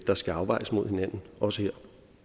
der skal afvejes mod hinanden også her